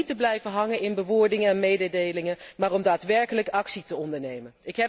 En om niet te blijven hangen in bewoordingen en mededelingen, maar om daadwerkelijk actie te ondernemen.